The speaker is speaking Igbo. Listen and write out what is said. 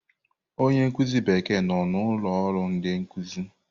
Onye nkuzi Bekee nọ na ụlọ ọrụ ndị nkụzi.